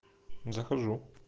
захожу